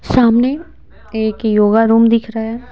सामने एक yoga room दिख रहा है।